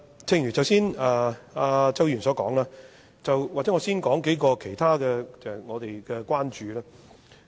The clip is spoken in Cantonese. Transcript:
正如周議員剛才所說，也許我先說幾個我們的關注事項。